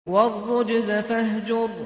وَالرُّجْزَ فَاهْجُرْ